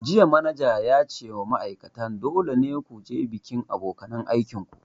Jiya manajan ya ce wa ma'aikatan 'Dole ne ku je bikin abokanan aikin ku'!